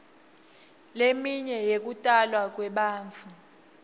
leminye yekutalwa kwebantfu